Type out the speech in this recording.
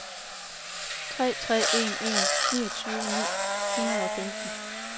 tre tre en en niogtyve ni hundrede og femten